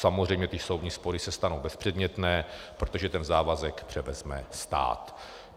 Samozřejmě ty soudní spory se stanou bezpředmětné, protože ten závazek převezme stát.